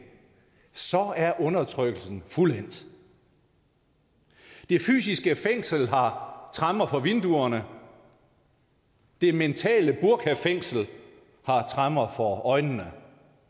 er undertrykkelsen fuldendt det fysiske fængsel har tremmer for vinduerne det mentale burkafængsel har tremmer for øjnene